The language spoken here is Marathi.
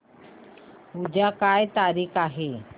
उद्या काय तारीख आहे